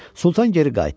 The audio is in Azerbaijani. Sultan geri qayıtdı.